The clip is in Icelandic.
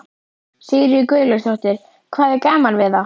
Sigríður Guðlaugsdóttir: Hvað er gaman við það?